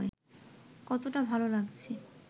কতটা ভালো লাগছে